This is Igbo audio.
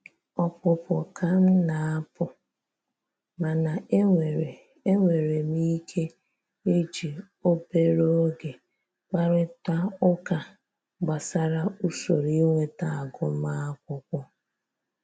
Ọpụpụ ka m na-apụ, mana e nwere e nwere m ike iji obere oge kparịtaa ụka gbasara usoro inweta agụmakwụkwọ